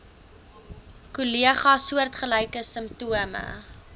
kollegas soortgelyke simptome